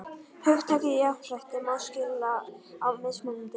Hugtakið jafnrétti má skilja á mismunandi vegu.